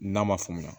N'a ma faamuya